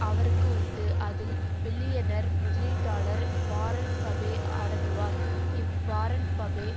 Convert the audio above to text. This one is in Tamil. அவருக்கு உண்டு அதில் பில்லியனர் முதலீட்டாளர் வாரன் பபே அடங்குவார் இவ் வாரன் பபே